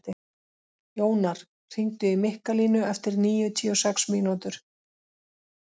Jónar, hringdu í Mikkalínu eftir níutíu og sex mínútur.